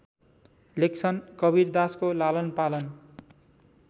लेख्छन् कवीरदासको लालनपालन